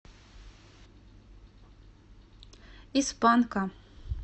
из панка